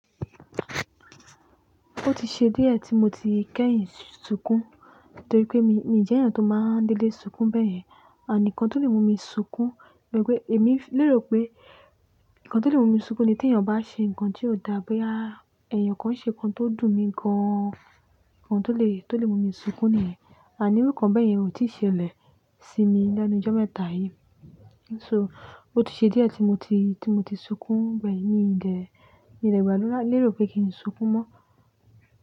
Ó ti ṣe díẹ̀ tí mo ti kẹ́yìn sunkún, torí pé mi, mi i jẹ́ ènìyàn tó máa n dedé sunkún bẹ́yẹn, àmin kan tó lè mú mi sunkún, bii pe èmi lérò pé, Nnkan tó lè mú mi sunkún ni tí ènìyàn bá ṣe ǹkan tí ó dàbí boyaa, èèyàn kan ṣe ǹkan tó dùn mí gan-an, ǹkan tó lè, tó lè mú mi sunkún niyen, àní iru nǹkan bẹ́yẹn ò tíì ṣẹlẹ̀ sí mi lẹ́nu ijọ́ mẹ́ta yìí. So ó ti ṣe díẹ̀ tí mo ti, tí mo ti sunkún gbẹ́yin, mi dè, mi dè gbà dura, lérò pé kí n sunkún mọ́